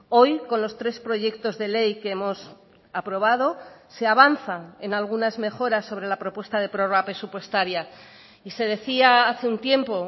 hoy con los tres proyectos de ley que hemos aprobado se avanzan en algunas mejoras sobre la propuesta de prórroga presupuestaria y se decía hace un tiempo